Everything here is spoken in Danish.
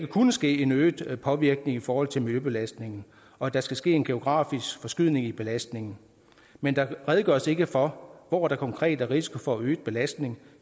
kunne ske en øget påvirkning i forhold til miljøbelastning og at der skal ske en geografisk forskydning i belastningen men der redegøres ikke for hvor der konkret er risiko for øget belastning